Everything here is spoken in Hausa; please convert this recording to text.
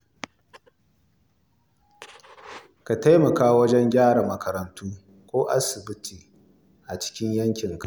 Ka taimaka wajen gyara makarantu ko asibitoci a cikin yankinka.